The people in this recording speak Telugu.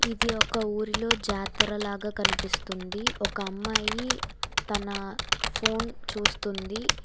ఇది ఒక ఊరిలో జాతర లాగా కనిపిస్తుంది ఒక అమ్మాయి తన ఫోన్ చూస్తుంది.